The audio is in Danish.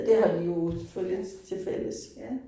Ja. Ja. Ja